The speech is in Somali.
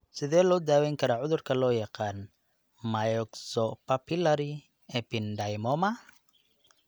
Sidee loo daweyn karaa cudurka loo yaqaan 'myxopapillary ependymoma'?